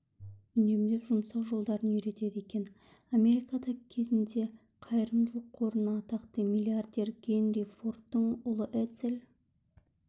үнемдеп жұмсау жолдарын үйретеді екен америкада кезінде қайрымдылық қорында атақты миллиардер генри фордтың ұлы эдсел